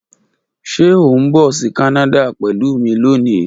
Ṣe o n bọ si Kanada pẹlu mi loni?